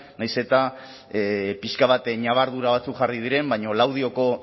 nahiz eta pixka bat ñabardura batzuk jarri diren baina laudioko